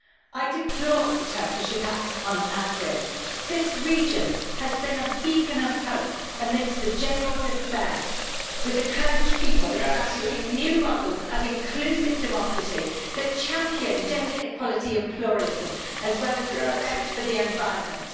I deplore the Turkish attacks on Afrin this region has been a beacon of hope amidst the general despair, with the Kurdish people establishing new models of inclusive democracy that champion gender equality and pluralism as well as respect for the environment.